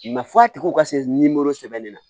f'a tigiw ka se sɛbɛnni na